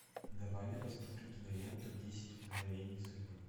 давай я посмотрю киноленту десять мгновений судьбы